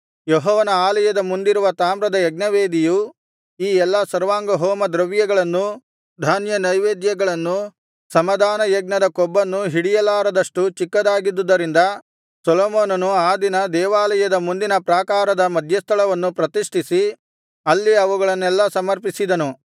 ಯೆಹೋವನ ಆಲಯದ ಮುಂದಿರುವ ತಾಮ್ರದ ಯಜ್ಞವೇದಿಯು ಈ ಎಲ್ಲಾ ಸರ್ವಾಂಗಹೋಮ ದ್ರವ್ಯಗಳನ್ನೂ ಧಾನ್ಯ ನೈವೇದ್ಯಗಳನ್ನೂ ಸಮಾಧಾನಯಜ್ಞದ ಕೊಬ್ಬನ್ನೂ ಹಿಡಿಯಲಾರದಷ್ಟು ‍ಚಿಕ್ಕದಾಗಿದ್ದುದರಿಂದ ಸೊಲೊಮೋನನು ಆ ದಿನ ದೇವಾಲಯದ ಮುಂದಿನ ಪ್ರಾಕಾರದ ಮಧ್ಯಸ್ಥಳವನ್ನು ಪ್ರತಿಷ್ಠಿಸಿ ಅಲ್ಲಿ ಅವುಗಳನ್ನೆಲ್ಲಾ ಸಮರ್ಪಿಸಿದನು